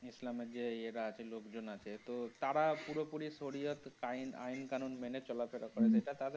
Islam এর যে ইয়ে রা আছে লোকজন আছে তো তারা পুরোপুরি Sauriatime আইন কানুন মেনে চলা ফেরা করা সেটা তার.